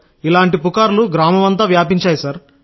ఇలాంటి పుకార్లు గ్రామమంతా వ్యాపించాయి సార్